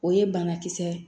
O ye banakisɛ ye